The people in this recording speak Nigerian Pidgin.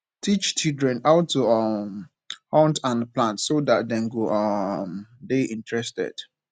teach children how to um hunt and plant so that dem go um de interested